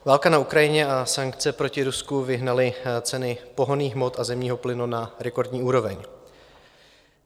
Válka na Ukrajině a sankce proti Rusku vyhnaly ceny pohonných hmot a zemního plynu na rekordní úroveň.